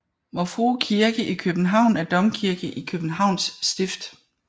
Vor Frue Kirke i København er domkirke i Københavns Stift